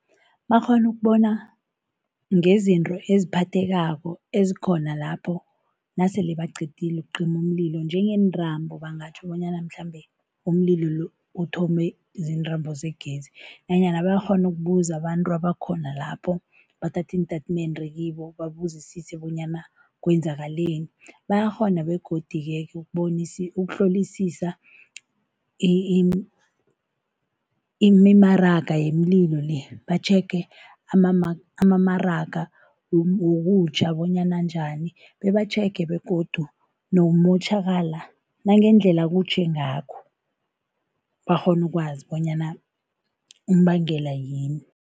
Bakghone ukubona ngezinto eziphathekako ezikhona lapho nasele baqedile ukucima umlilo. Njengeentambo, bangatjho bonyana mhlambe umlilo lo uthome ziintambo zegezi nanyana bayakghona ukubuza abantu abakhona lapho, bathathe iintatimende kibo babuzisise bonyana kwenzakaleni. Bayakghona begodi-ke ukuhlolisisa imimaraga yemililo le, batjhege amamaraga wokutjha bonyana anjani bebatjhege begodu nokumotjhakala, nangendlela kutjhe ngakho, bakghone ukwazi bonyana umbangela yini.